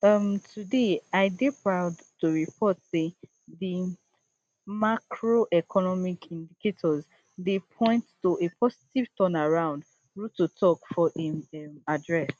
um today i dey proud to report say di macroeconomic indicators dey point to a positive turnaround ruto tok for im um address